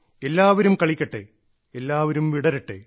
എല്ലാവരും കളിക്കട്ടെ എല്ലാവരും വിടരട്ടെ